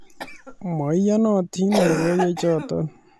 "Meiyonotin logoiywechoto .